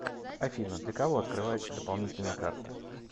афина для кого открывается дополнительная карта